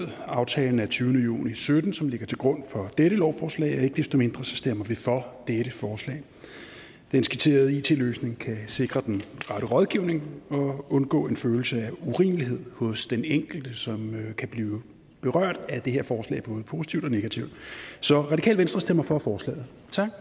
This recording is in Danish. aftalen af tyvende juni sytten som ligger til grund for dette lovforslag men ikke desto mindre stemmer vi for dette forslag den skitserede it løsning kan sikre den rette rådgivning og undgå en følelse af urimelighed hos den enkelte som kan blive berørt af det her forslag både positivt og negativt så radikale venstre stemmer for forslaget